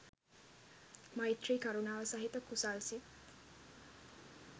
මෛත්‍රී කරුණාව සහිත කුසල් සිත්